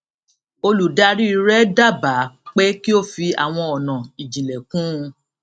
olùdarí rẹ dábàá pé kí ó fi àwọn ọnà ììjìnlẹ kún un